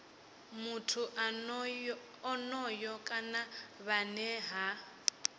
muthu onoyo kana vhane ha